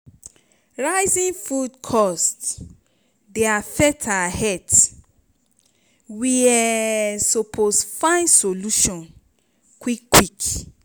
rising food cost dey affect our health we um suppose find solution quick quick.